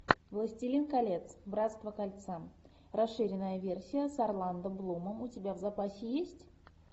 властелин колец братство кольца расширенная версия с орландо блумом у тебя в запасе есть